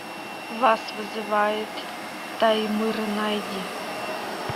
вас вызывает таймыр найди